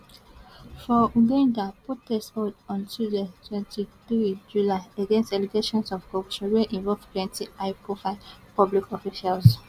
for uganda protest hold on tuesday twenty three july against allegations of corruption wey involve plenty high profile public officials